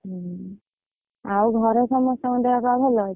ହୁଁ, ଆଉ ଘରେ ସମସ୍ତଙ୍କ ଦେହ ପା ଭଲ ଅଛି?